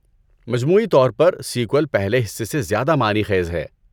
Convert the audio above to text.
مجموعی طور پر، سیکوئل پہلے حصے سے زیادہ معنی خیز ہے۔